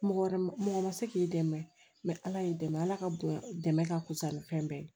Mɔgɔ wɛrɛ ma mɔgɔ ma se k'i dɛmɛ mɛ ala y'i dɛmɛ ala ka bonya dɛmɛ ka fusa ni fɛn bɛɛ ye